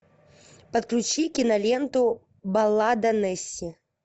подключи киноленту баллада несси